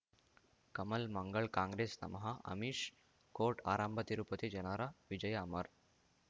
ಕಮಲ್ ಮಂಗಳ್ ಕಾಂಗ್ರೆಸ್ ನಮಃ ಅಮಿಷ್ ಕೋರ್ಟ್ ಆರಂಭ ತಿರುಪತಿ ಜನರ ವಿಜಯ ಅಮರ್